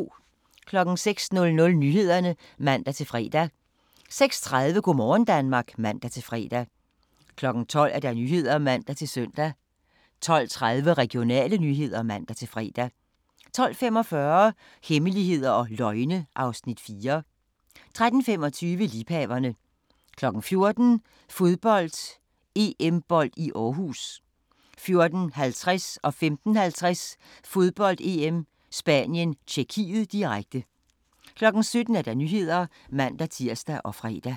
06:00: Nyhederne (man-fre) 06:30: Go' morgen Danmark (man-fre) 12:00: Nyhederne (man-søn) 12:30: Regionale nyheder (man-fre) 12:45: Hemmeligheder og løgne (Afs. 4) 13:25: Liebhaverne 14:00: Fodbold: EM-bold i Aarhus 14:50: Fodbold: EM - Spanien-Tjekkiet, direkte 15:50: Fodbold: EM - Spanien-Tjekkiet, direkte 17:00: Nyhederne (man-tir og fre)